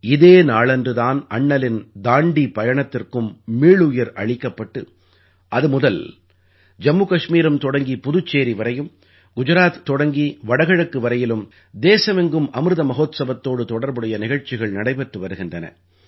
இதே நாளன்று தான் அண்ணலின் தாண்டீ பயணத்திற்கும் மீளுயிர் அளிக்கப்பட்டு அது முதல் ஜம்மு கஷ்மீரம் தொடங்கி புதுச்சேரி வரையும் குஜராத் தொடங்கி வடகிழக்கு வரையிலும் தேசமெங்கும் அமிர்த மஹோத்ஸவத்தோடு தொடர்புடைய நிகழ்ச்சிகள் நடைபெற்று வருகின்றன